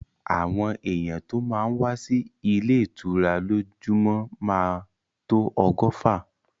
Àwọn èyàn tó má ń wá sí ilé ìtura lójúmọ́ máa tó ọgọ́fà.